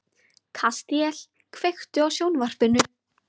Kastíel, kveiktu á sjónvarpinu.